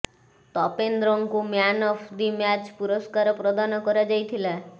ତପେନ୍ଦ୍ରଙ୍କୁ man of the match ପୁରସ୍କାର ପ୍ରଦାନ କରାଯାଇଥିଲା